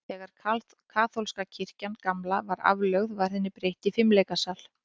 Þegar kaþólska kirkjan gamla var aflögð, var henni breytt í leikfimisal.